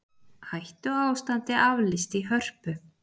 Hættuástandi aflýst í Hörpu